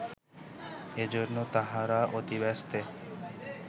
এজন্য তাহারা অতিব্যস্তে